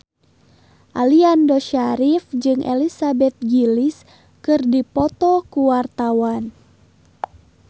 Aliando Syarif jeung Elizabeth Gillies keur dipoto ku wartawan